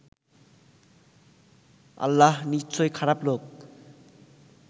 আল্লাহ নিশ্চয় খারাপ লোক